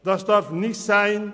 Das darf nicht sein.